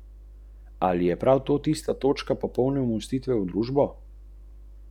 Zaljubila sta se grofica in grajski vrtnar.